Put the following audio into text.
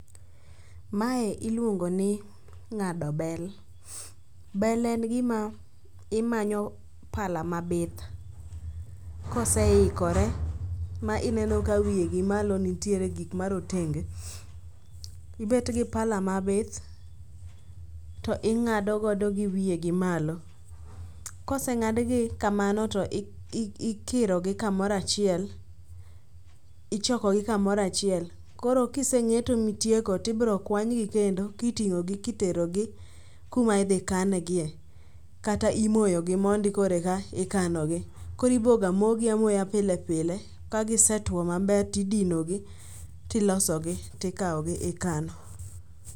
Mae iluongo ni ng'ado bel. Bel en gima imanyo pala mabith koseikore ma ineno ka wiye gi malo nitiere gik marotenge. Ibetgi pala mabith to ing'adogodo gi wiye gi malo. Koseng'adgi kamano to ikirogi kamoro achiel, ichokogi kamoro achiel koro kiseng'eto mitieko tibrokwanygi kendo kiting'ogi kiterogi kumaidhikangie kata imoyogi mondi koro eka ikanogi. Koro ibogamogi amoya pile pile kagisetwo maber tidinogi tilosogi tikawogi ikano.